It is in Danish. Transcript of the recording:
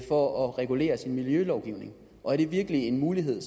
for at regulere sin miljølovgivning er det virkelig en mulighed